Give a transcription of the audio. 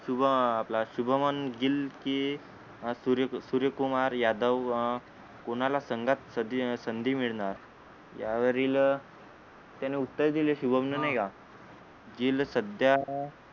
शुभम आपला शुभमन गिल की अं सूर्य सूर्यकुमार यादव अं कोणाला संघात सधी संधी मिळणार यावरील त्याने उत्तर दिले शुभमने नाहीका गिल सध्या